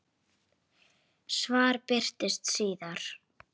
Hvað viltu segja um það?